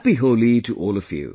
Happy Holi to all of you